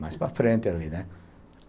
Mais para frente ali, né?